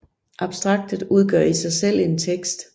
Abstraktet udgør i sig selv en tekst